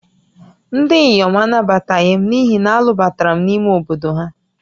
Ndị inyom anabataghị m n'ihi na a lụbatara m n'ime obodo ha